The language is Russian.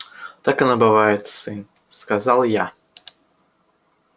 так оно бывает сын сказал я